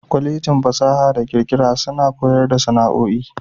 Kwallejin fasaha da kirkira suna koyar da sana'o'i.